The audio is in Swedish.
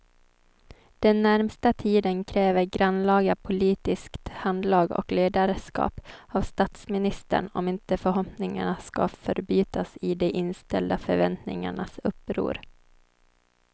Den närmaste tiden kräver grannlaga politiskt handlag och ledarskap av statsministern om inte förhoppningarna ska förbytas i de inställda förväntningarnas uppror.